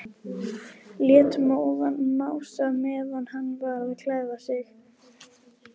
Lét móðan mása meðan hann var að klæða sig.